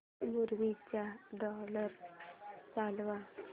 movie चा trailer चालव